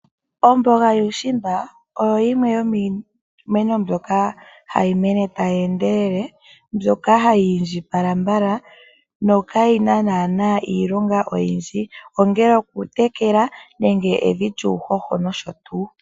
Omboga yuushimba oyo yimwe yomiimeno mbyoka hayi mene tayi endelele mbyoka hayi indjipala mbala nokayi na naana iilonga oyindji ongele okutekela nenge evi lyuuhoho nosho tu.